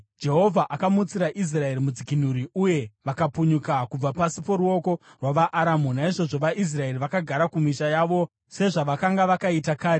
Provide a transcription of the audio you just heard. Jehovha akamutsira Israeri mudzikinuri, uye vakapukunyuka kubva pasi poruoko rwavaAramu. Naizvozvo vaIsraeri vakagara mumisha yavo sezvavakanga vakaita kare.